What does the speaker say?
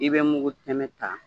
I be mugu tɛmɛ ta